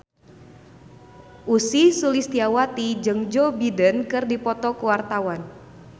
Ussy Sulistyawati jeung Joe Biden keur dipoto ku wartawan